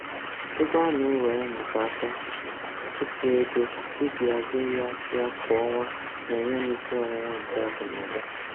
Ego ana-ewere maka aka ụtụ ego m iji hazie ya ya kwa ọnwa na-enye m isi ọwụwa nke akụnaụba.